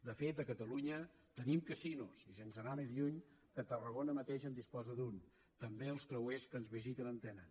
de fet a catalunya tenim casinos i sense anar més lluny tarragona mateix en disposa d’un també els creuers que ens visiten en tenen